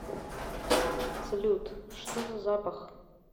салют что за запах